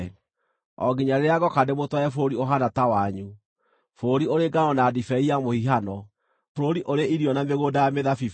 o nginya rĩrĩa ngooka ndĩmũtware bũrũri ũhaana ta wanyu, bũrũri ũrĩ ngano na ndibei ya mũhihano, bũrũri ũrĩ irio na mĩgũnda ya mĩthabibũ.